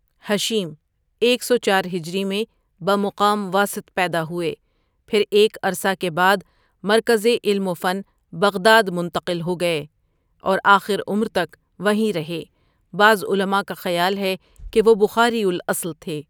ہشیم ایک سو چار ھ میں بمقام واسطہ پیدا ہوئے، پھر ایک عرصہ کے بعد مرکز علم وفن بغداد منتقل ہوگئے تھے اورآخر عمر تک وہیں رہے، بعض علماء کا خیال ہےکہ وہ بخاری الاصل تھے.